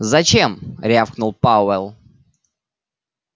зачем рявкнул пауэлл